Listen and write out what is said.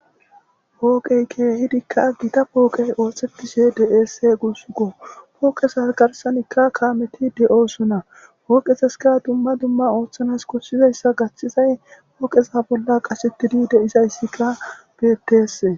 Pooqey keehidikka gita pooqey ooththetishe dese guussko pooqeses garsanikka kaameti de7osuna pooqeseska dumma dumma ooththanas kossizayssa gachthizay pooqesa bolla qasettidi deizayssikka betes.